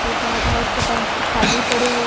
तथा बहोत से काउंटर खाली पड़े हुये--